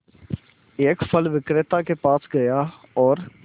एक फल विक्रेता के पास गया और